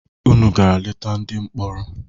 Unu gara leta ndị mkpọrọ?